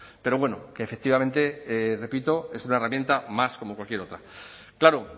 pero bueno que efectivamente repito es una herramienta más como cualquier otra claro